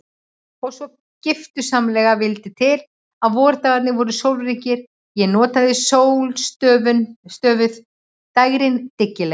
Svo giftusamlega vildi til að vordagarnir voru sólríkir og ég notaði sólstöfuð dægrin dyggilega.